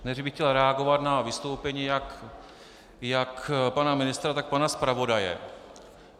Nejdříve bych chtěl reagovat na vystoupení jak pana ministra, tak pana zpravodaje.